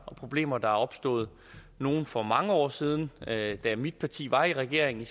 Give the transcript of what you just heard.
problemer der er opstået nogle for mange år siden da da mit parti var i regering